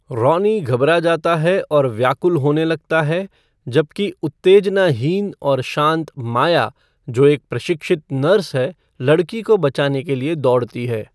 Ronnie घबरा जाता है और व्याकुल होने लगता है, जबकि उत्तेजनाहीन और शांत माया, जो एक प्रशिक्षित नर्स है, लड़की को बचाने के लिए दौड़ती है।